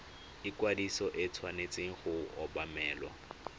ikwadiso e tshwanetse go obamelwa